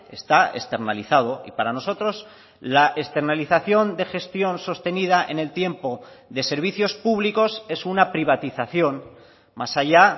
está externalizado y para nosotros la externalización de gestión sostenida en el tiempo de servicios públicos es una privatización más allá